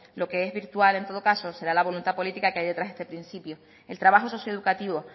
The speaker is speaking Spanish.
lo que es virtual en todo caso será la voluntad política que hay detrás de este principio el trabajo socioeducativo